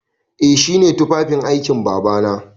Eh shi ne tufafin aikin Babana.